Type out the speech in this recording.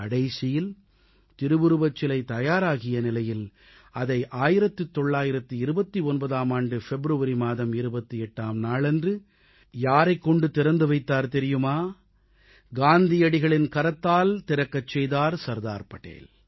கடைசியில் திருவுருவச் சிலை தயாராகிய நிலையில் அதை 1929ஆம் ஆண்டு பிப்ரவரி மாதம் 28ஆம் நாளன்று யாரைக் கொண்டு வைத்தார் தெரியுமா காந்தியடிகளின் கரத்தால் திறக்கச் செய்தார் சர்தார் படேல்